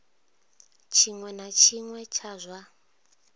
tshiṅwe na tshiṅwe tsha zwa